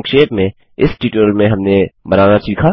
संक्षेप में इस ट्यूटोरियल में हमने बनाना सीखा